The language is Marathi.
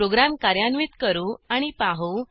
प्रोग्रॅम कार्यान्वित करू आणि पाहू